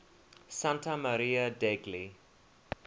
santa maria degli